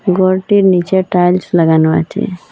গরটির নীচে টাইলস লাগানো আছে।